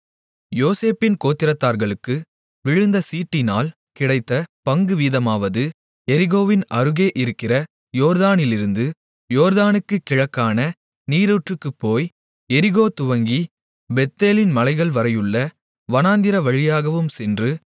யோசேப்பின் கோத்திரத்தார்களுக்கு விழுந்த சீட்டினால் கிடைத்த பங்குவீதமாவது எரிகோவின் அருகே இருக்கிற யோர்தானிலிருந்து யோர்தானுக்குக் கிழக்கான நீரூற்றுக்குப் போய் எரிகோ துவங்கிப் பெத்தேலின் மலைகள்வரையுள்ள வனாந்திர வழியாகவும் சென்று